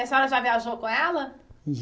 E a senhora já viajou com ela?